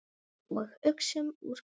Og uxum úr grasi.